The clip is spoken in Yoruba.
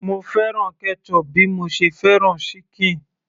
mo fẹ́ràn ketchup bí mo ṣe fẹ́ràn ṣíkìn